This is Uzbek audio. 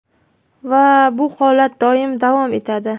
Va bu holat doim davom etadi.